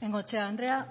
bengoechea andrea